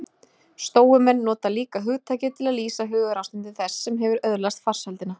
stóumenn nota líka hugtakið til að lýsa hugarástandi þess sem hefur öðlast farsældina